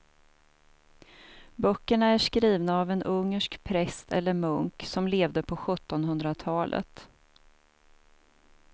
Böckerna är skrivna av en ungersk präst eller munk som levde på sjuttonhundratalet.